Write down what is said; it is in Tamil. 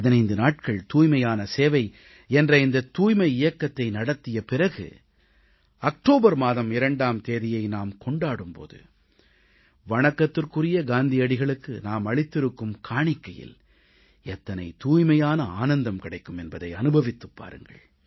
15 நாட்கள் தூய்மையே சேவை என்ற இந்தத் தூய்மை இயக்கத்தை நடத்திய பிறகு அக்டோபர் மாதம் 2ஆம் தேதியை நாம் கொண்டாடும் பொழுது வணக்கத்திற்குரிய காந்தியடிகளுக்கு நாம் அளித்திருக்கும் காணிக்கையில் எத்தனை தூய்மையான ஆனந்தம் கிடைக்கும் என்பதை அனுபவித்துப் பாருங்கள்